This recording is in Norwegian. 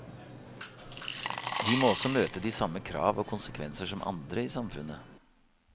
De må også møte de samme krav og konsekvenser som andre i samfunnet.